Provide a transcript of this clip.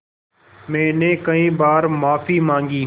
मैंने कई बार माफ़ी माँगी